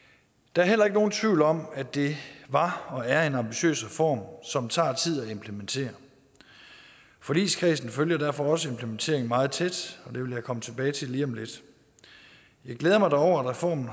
der er heller ikke nogen tvivl om at det var og er en ambitiøs reform som tager tid at implementere forligskredsen følger derfor også implementeringen meget tæt og det vil jeg komme tilbage til lige om lidt jeg glæder mig dog over at reformen